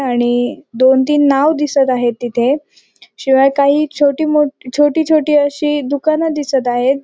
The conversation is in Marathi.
आणि दोन तीन नाव दिसत आहेत तिथे शिवाय काही छोटी मो छोटी छोटी अशी दुकान दिसत आहेत.